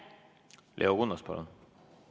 Leo Kunnas, palun!